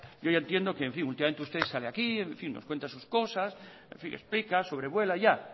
yo ya entiendo que últimamente usted sale aquí nos cuenta sus cosas explica sobrevuela ya